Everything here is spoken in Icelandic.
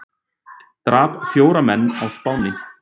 Drap fjóra menn á Spáni